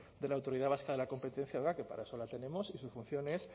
de la autoridad vasca de la competencia que para eso la tenemos y su función es